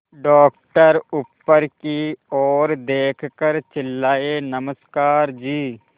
doctor ऊपर की ओर देखकर चिल्लाए नमस्कार जी